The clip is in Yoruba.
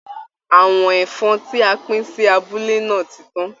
Àwọ̀n ẹ̀fọn tí a pín sí abúlé náà ti tán